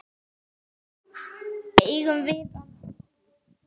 Eigum við að koma út?